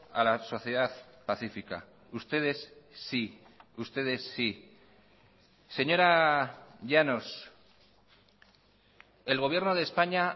a la sociedad pacífica ustedes sí ustedes sí señora llanos el gobierno de españa